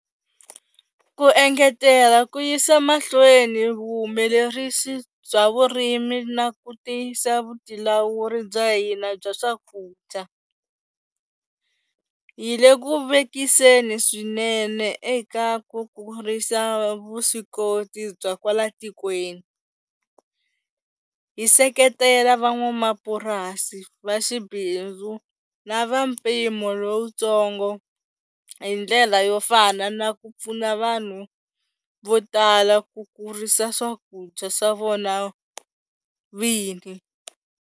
Ku engetela ku yisa mahlweni vuhumelerisi bya vurimi na ku tiyisa vutilawuri bya hina bya swakudya, hi le ku vekiseni swinene eka ku kurisa vuswikoti bya kwala tikweni, hi seketela van'wamapurasi va xibindzu na va mpimo lowutsongo hi ndlela yo fana na ku pfuna vanhu vo tala ku kurisa swakudya swa vona vini.